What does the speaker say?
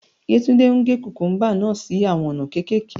Yetunde n ge kukumba naa si awọn ona kekeke